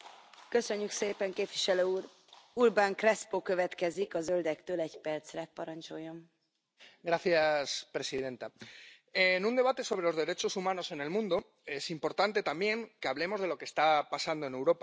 Señora presidenta, en un debate sobre los derechos humanos en el mundo es importante también que hablemos de lo que está pasando en Europa.